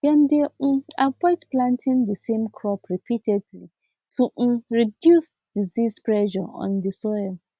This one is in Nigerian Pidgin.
dem dey um avoid planting the same crop repeatedly to um reduce disease pressure on the soil